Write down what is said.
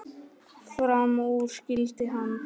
Fram úr skyldi hann.